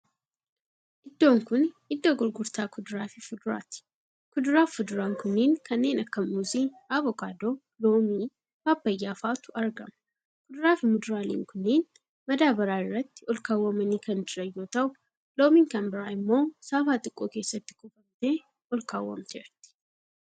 Iddoon kuni iddoo gurgurtaa kuduraaf fuduraati. Kuduraaf fuduraan kunniin kanneen akka Muuzii, Avokaadoo, Loomii, Paappayyaa fa'atu argama. Kuduraa fii muduraalen kunniin madaabaraa irratti olkaawwamanii kan jiran yoo ta'u Loomin kan biraa immoo saafaa xiqqoo keessatti kuufamtee olkaawwamteerti.